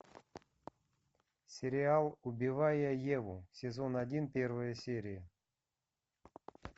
сериал убивая еву сезон один первая серия